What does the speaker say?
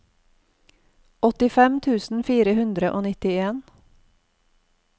åttifem tusen fire hundre og nittien